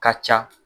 Ka ca